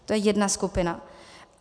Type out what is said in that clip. To je jedna skupina.